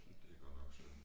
Det godt synd